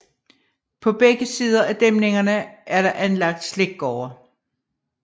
På begge sider af dæmningen er der anlagt slikgårde